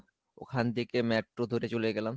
ওখান থেকে metro ধরে চলে গেলাম।